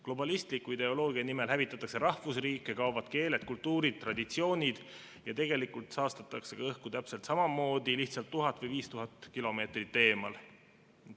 Globalistliku ideoloogia nimel hävitatakse rahvusriike, kaovad keeled, kultuurid, traditsioonid ja tegelikult saastatakse ka õhku täpselt samamoodi, lihtsalt 1000 või 5000 kilomeetrit eemal.